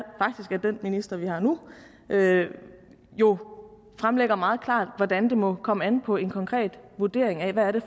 den minister vi har nu jo fremlægger meget klart hvordan det må komme an på en konkret vurdering af hvad det